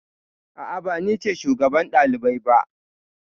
A'a, ba ni ce shugaban ɗalibai ba.